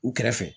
U kɛrɛfɛ